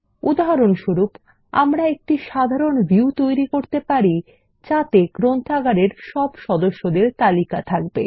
উদাহরণস্বরূপ আমরা একটি সাধারণ ভিউ তৈরী করতে পারি যাতে গ্রন্থাগারের সকল সদস্যদের তালিকা থাকবে